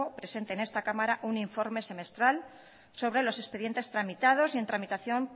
presente en esta cámara un informe semestral sobre los expedientes tramitados y en tramitación